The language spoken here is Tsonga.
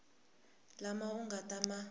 lama u nga ta ma